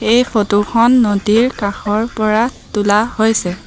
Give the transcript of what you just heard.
এই ফটো খন নদীৰ কাষৰ পৰা তোলা হৈছে।